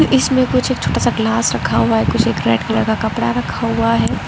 इसमें कुछ एक छोटा सा ग्लास रखा हुआ है कुछ एक रेड कलर का कपड़ा रखा हुआ है।